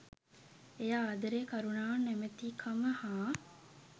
එය ආදරය කරුණාව නොමැතිකම හා